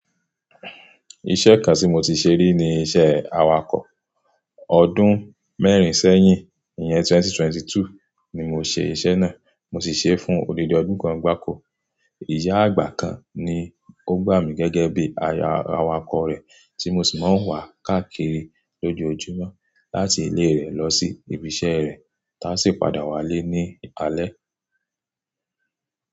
Iṣẹ́ kan tí mo ti ṣe rí ni iṣẹ́ awakọ̀. Ọdún mẹ́rin sẹ́yìn, ìyẹn 2022 ni mo ṣe iṣẹ́ náà. Mo sì ṣe é fún odidi ọdún kan gbáko. Ìyá àgbà kan ni ó gbà mí gẹ́gẹ́ bí awakọ̀ rẹ̀ tí mo sì máa ń wà káàkiri lójoojúmọ́ láti ilé rẹ̀ lọ sí ibi iṣẹ́ rẹ̀, táa sì padà wálé ní alẹ́.